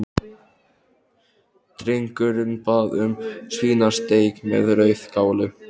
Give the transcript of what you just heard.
Drengurinn bað um svínasteik með rauðkáli.